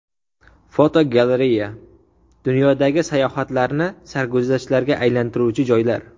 Fotogalereya: Dunyodagi sayohatlarni sarguzashtlarga aylantiruvchi joylar.